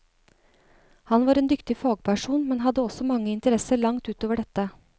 Han var en dyktig fagperson, men hadde også mange interesser langt ut over dette.